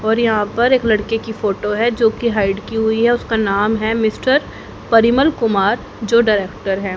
और यहां पर एक लड़के की फोटो है जो की हाइड की हुई है उसका नाम है मिस्टर परिमल कुमार जो डायरेक्टर हैं।